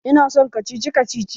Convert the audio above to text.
Ina son kacici kacici